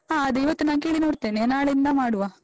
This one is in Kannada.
ಹ, ಅದು ಇವತ್ತು ನಾನ್ ಕೇಳಿ ನೋಡ್ತೇನೆ, ನಾಳೆಯಿಂದ ಮಾಡುವ.